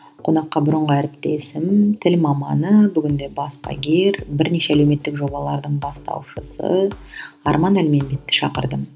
қонаққа бұрынғы әріптесім тіл маманы бүгінде баспагер бірнеше әлеуметтік жобалардың бастаушысы арман әлменбетті шақырдым